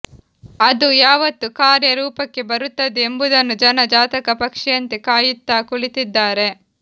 ಅದು ಯಾವತ್ತು ಕಾರ್ಯ ರೂಪಕ್ಕೆ ಬರುತ್ತದೆ ಎಂಬುದನ್ನು ಜನ ಜಾತಕ ಪಕ್ಷಿಯಂತೆ ಕಾಯುತ್ತಾ ಕುಳಿತ್ತಿದ್ದಾರೆ